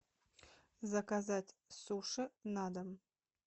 заказать суши на дом